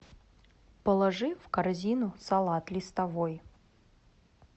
положи в корзину салат листовой